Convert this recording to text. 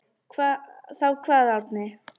Þá kvað Árni: